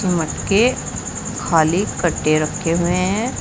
Cement के खाली रखे हुए है।